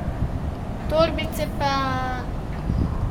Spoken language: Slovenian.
Torbice pa...